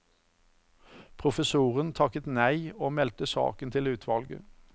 Professoren takket nei og meldte saken til utvalget.